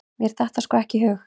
Mér datt það sko ekki í hug!